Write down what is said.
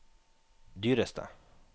dyreste